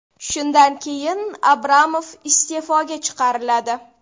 Shundan keyin Abramov iste’foga chiqariladi.